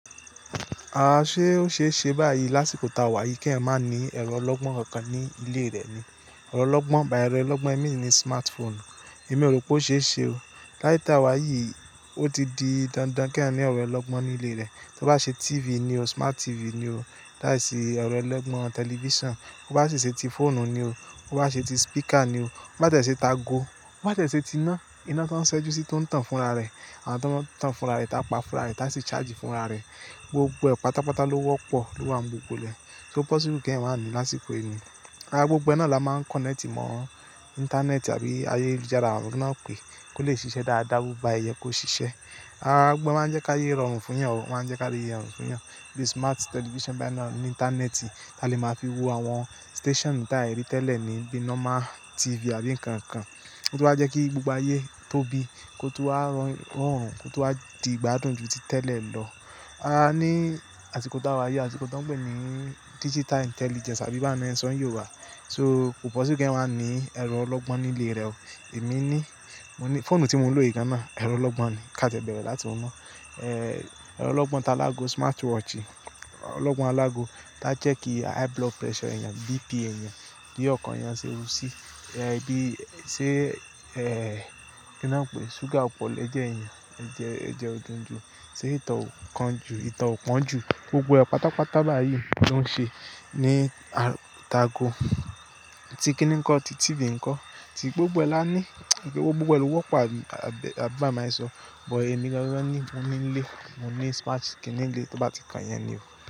A ṣe ó ṣe é ṣe báyìí lásìkò ta wá yìí kí ẹ má ní ẹ̀rọ ọlọ́gbọ́n kankan ní ilé rẹ ni. Ẹ̀rọ ọlọ́gbọ́n, báyìí ẹ̀rọ ọlọ́gbọ́n èmi ni smartphone. Èmi ò rò pé ó ṣe é ṣe o. Láye ta wá yìí, ó ti di dandan kí ẹ ní ẹ̀rọ ọlọ́gbọ́n ní ilé rẹ. Tí o bá ṣe TV ni o, smart TV ni o. Táìsì ẹ̀rọ ọlọ́gbọ́n television. O bá ṣi ṣe ti fóònù ni o. O bá ṣe ti spika ni o. Bo bá tẹ́ẹ ṣe taago. Ó bá tẹ́ẹ ṣe ti iná, iná tó ń ṣẹ́jú sí tó ń tàn fún ara rẹ àti tàn fún ara rẹ, tá pàfúrà rẹ, tá ṣé charge fún ara rẹ. Gbogbo ẹ̀ pátápátá ló wọ́pọ̀ ló wà ní gbogbo ilé. So possible kí ẹ má ní lásìkò yìí ni. Ara gbogbo náà là máa ń connect mọ́ internet àbí ayélujára àwọn ọ̀rẹ́ náà pé kó lè ṣiṣẹ́ dáadáa, bá yẹ yẹ kó ṣiṣẹ́. Gbogbo máa ń jẹ́ ká yé rọrùn fún yàn, máa ń jẹ́ ká rọrùn fún yàn. Bíi smart television báyìí náà ní interneti, ta lè máa fi wo àwọn station tí a lè rí tẹ́lẹ̀ ní bíi normal TV àbí nǹkan kan. Ó tu n wa jẹ́ kí gbogbo ayé tóbi, kó tó wá rọrùn, kó tó wá di gbádùn jù tí tẹ́lẹ̀ lọ. A ní àsìkò ta wá yìí, àsìkò tán pè ní digital intelligence àbí báwo ni won ń sọ̀ ní Yorùbá. So ko possible kí ẹ má ní ẹ̀rọ ọlọ́gbọ́n ní ilé rẹ o. Èmi ní, mo ní fóònù tí mo ń lò yìí gan náà ẹ̀rọ ọlọ́gbọ́n ni. Ká tie bẹ̀rẹ̀ láti oun na. Ẹ̀rọ ọlọ́gbọ́n ta alágó smartwatch, ọlọ́gbọ́n alágó tá jẹ́ kí high blood pressure èèyàn, BP èèyàn, bí ọkàn èèyàn ṣe rú sí, bí ṣé, ẹ́, kí ni wọ́n ń pè, ṣúgà o pọ̀ lẹjẹ èèyàn, ẹjẹ, ẹjẹ ò dùn jù, ṣé ìtọ̀ kán jù, ìtọ̀ pọ́n jù. Gbogbo ẹ̀ pátápátá báyìí ló ń ṣe ní à-taago, ti kíní ń kọ́, ti TV ń kọ́. Ti gbogbo ẹ la ní, gbogbo ẹ lo wọ̀ gbogbo ẹ ló wọ́pọ̀, àbí bá máa ń sọ. Bọ̀ emi gangan ni mo ní nílé, mo ní smart TV nílé, tí o bá ti kan yẹn ni o.